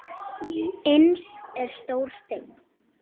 Innst er stór steinn.